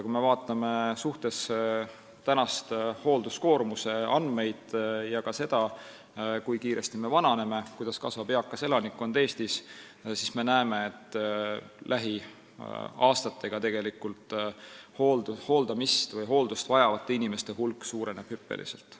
Kui me vaatame hoolduskoormuse andmeid ning seda, kui kiiresti me vananeme ja kuidas kasvab eakas elanikkond Eestis, siis me näeme, et lähiaastatega suureneb hooldamist või hooldust vajavate inimeste hulk hüppeliselt.